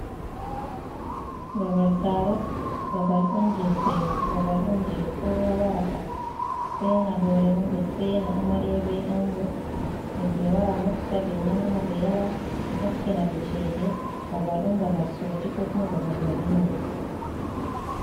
Babal taaro, babal on jei seyo, babal on jei kowa warata sena hoore mum, ɓe sena amarya be ango. Himɓe wara mofta, ɓe nyama, ɓe yara, ɓe takkina ɓe cede. Babal on babal soti, kuma babal walima.